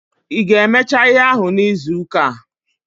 Ị ga-emecha ihe ahụ n'izuuka a?